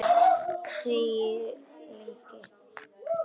Þegir lengi.